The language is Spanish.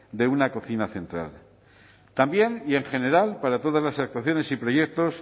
de una cocina central también y en general para todas las actuaciones y proyectos